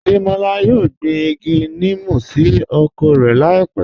Adémọlá yóò gbín igi nímú sí oko rẹ láípẹ̀